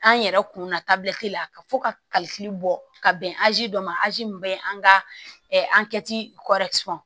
An yɛrɛ kunna tabila te la fo kalifili bɔ ka bɛn dɔ ma mun be an ka an kɛti